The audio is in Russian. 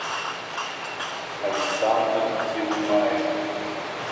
александр тиллаев